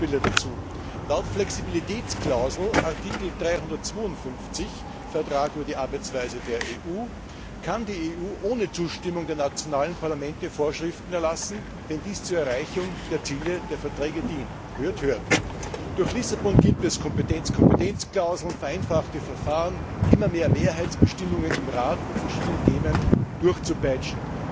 Nur ein paar Beispiele dazu Laut Flexibilitätsklausel in Artikel 352 des Vertrags über die Arbeitsweise der EU kann die EU ohne Zustimmung der nationalen Parlamente Vorschriften erlassen, wenn dies zur Erreichung der Ziele der Verträge dient. Hört, hört! Durch Lissabon gibt es Kompetenz Kompetenz Klauseln, vereinfachte Verfahren, immer mehr Mehrheitsbestimmungen im Rat, um verschiedene Themen durchzupeitschen.